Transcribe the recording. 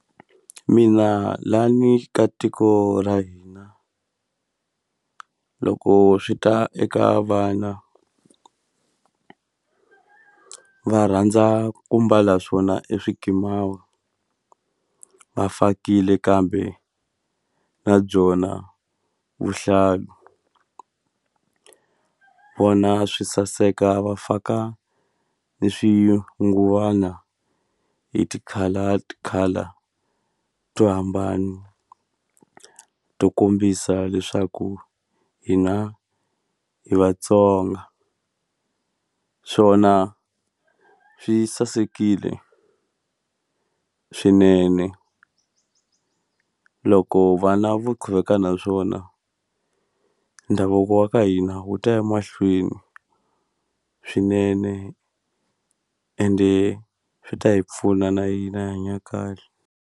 Mina lani ka tiko ra hina loko swi ta eka vana va rhandza ku mbala swona e swikimawa va fakile kambe na byona vuhlalu vona swi saseka va faka ni swinguvana hi ti-color ti-color to hambana to kombisa leswaku hina hi Vatsonga swona swi sasekile swinene loko vana vo quveka naswona ndhavuko wa ka hina wu tiya mahlweni swinene ende swi ta hi pfuna na hina hi hanya kahle.